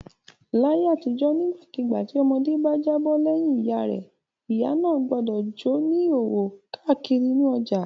Láyé àtijọ́ nígbàkigbà tí ọmọdé bá jábọ́ lẹ́yìn ìyá rẹ̀ ìyá náà gbọdọ̀ jó ní ìhòòhò káàkiri inú ọjà.